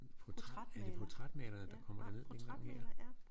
Portræt er det portrætmalerne der kommer derned denne gang her